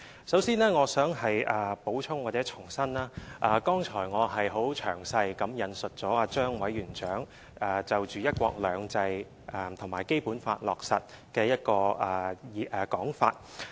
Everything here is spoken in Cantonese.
首先，我想補充或重申，我剛才已經詳細引述了張委員長就"一國兩制"和《基本法》落實的一個說法。